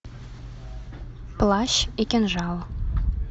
плащ и кинжал